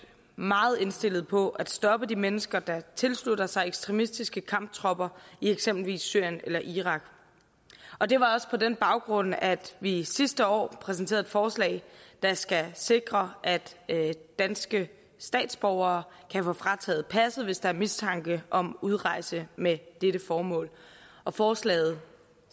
meget indstillet på at stoppe de mennesker der tilslutter sig ekstremistiske kamptropper i eksempelvis syrien eller irak og det var også på den baggrund at vi sidste år præsenterede et forslag der skal sikre at danske statsborgere kan få frataget passet hvis der er mistanke om udrejse med dette formål forslaget